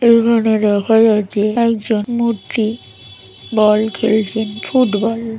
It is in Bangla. এখানে দেখা যাচ্ছে একজন মূর্তি বল খেলছেন ফুটবল ।